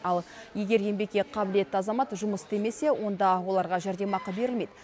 ал егер еңбекке қабілетті азамат жұмыс істемесе онда оларға жәрдемақы берілмейді